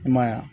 I m'a ye wa